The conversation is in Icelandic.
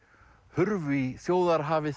hurfu í